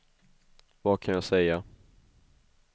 vad kan jag säga